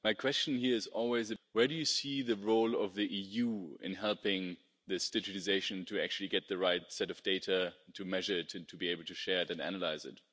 My question here is where do you see the role of the EU in helping this digitisation to actually get the right set of data, to measure it and to be able to share it and to analyse it?